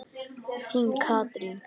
Þín, Katrín.